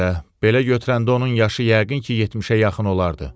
Hə, də, belə götürəndə onun yaşı yəqin ki, 70-ə yaxın olardı.